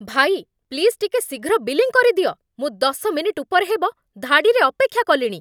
ଭାଇ, ପ୍ଲିଜ୍ ଟିକେ ଶୀଘ୍ର ବିଲିଂ କରିଦିଅ! ମୁଁ ଦଶ ମିନିଟ୍ ଉପରେ ହେବ ଧାଡ଼ିରେ ଅପେକ୍ଷା କଲିଣି ।